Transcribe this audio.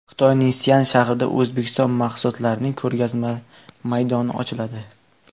Xitoyning Sian shahrida O‘zbekiston mahsulotlarining ko‘rgazma maydoni ochiladi.